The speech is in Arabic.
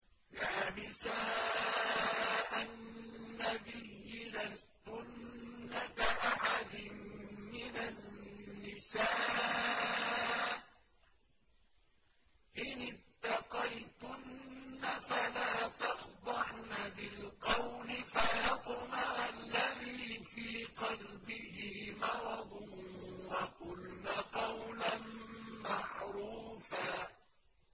يَا نِسَاءَ النَّبِيِّ لَسْتُنَّ كَأَحَدٍ مِّنَ النِّسَاءِ ۚ إِنِ اتَّقَيْتُنَّ فَلَا تَخْضَعْنَ بِالْقَوْلِ فَيَطْمَعَ الَّذِي فِي قَلْبِهِ مَرَضٌ وَقُلْنَ قَوْلًا مَّعْرُوفًا